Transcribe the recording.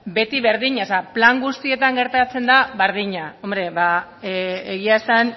beti berdina plan guztietan gertatzen da berdina hombre ba egia esan